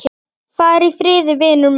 Far í friði, vinur minn.